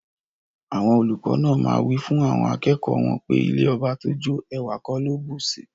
Awon oluko naa maa wifun awon akeeki won pe ilẹ̀ ọbà tó jó, èwà kò ló bùṣí.